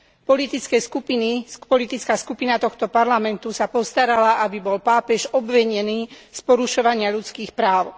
Politická skupina tohto parlamentu sa postarala, aby bol pápež obvinený z porušovania ľudských práv.